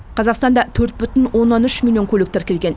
қазақстанда төрт бүтін оннан үш миллион көлік тіркелген